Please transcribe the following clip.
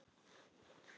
Allir hlæja.